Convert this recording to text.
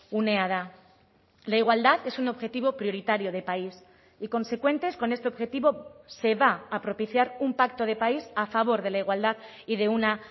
unea da la igualdad es un objetivo prioritario de país y consecuentes con este objetivo se va a propiciar un pacto de país a favor de la igualdad y de una